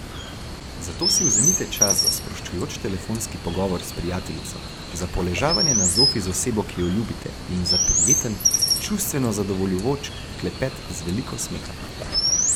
Zato si vzemite čas za sproščujoč telefonski pogovor s prijateljico, za poležavanje na zofi z osebo, ki jo ljubite, in za prijeten, čustveno zadovoljujoč klepet z veliko smeha.